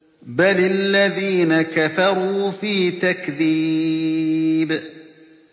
بَلِ الَّذِينَ كَفَرُوا فِي تَكْذِيبٍ